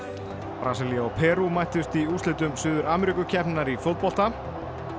Brasilía og Perú mættust í úrslitum Suður í fótbolta